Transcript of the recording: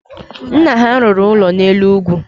Nna ha rụrụ ụlọ n’elu ugwu